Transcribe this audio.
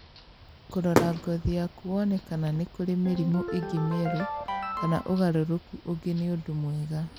Kũrora ngothi yaku wone kana nĩ kũrĩ mĩrimũ ĩngĩ mĩerũ kana ũgarũrũku ũngĩ nĩ ũndũ mwega